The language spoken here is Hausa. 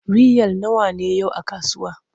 Riyal nawa ne yau a kasuwa?